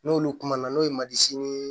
N'olu kumana n'o ye marisi